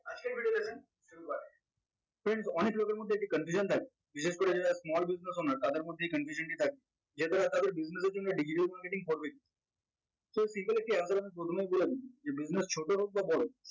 friends অনেক লোকের মধ্যে একটি confusion থাকে বিশেষ করে যারা small business owner তাদের মধ্যে এই confusion টি থাকে business এর জন্য digital marketing so simple একটি answer আমি প্রথমেই বলে নেই যে business ছোট হোক বা বড়